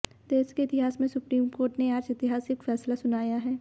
देश के इतिहास में सुप्रीम कोर्ट ने आज ऐतिहासिक फैसला सुनाया है